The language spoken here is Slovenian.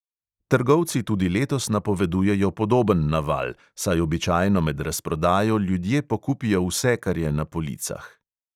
Trgovci tudi letos napovedujejo podoben naval, saj običajno med razprodajo ljudje pokupijo vse, kar je na policah.